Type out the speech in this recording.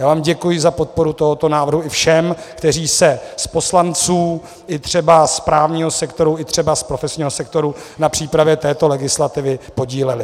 Já vám děkuji za podporu tohoto návrhu, i všem, kteří se z poslanců, i třeba z právního sektoru, i třeba z profesního sektoru na přípravě této legislativy podíleli.